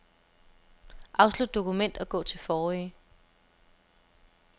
Afslut dokument og gå til forrige.